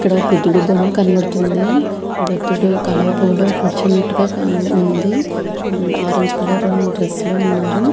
ఇక్కడ ఒక బుద్దిని బొమ కనబడుతూ వుంది బుధుడు కమలం పువు లో కురుచునాటు గ కనబడుతూ వుంది ఆరంజ్ కలర్ డ్రెస్ లో వున్నారు.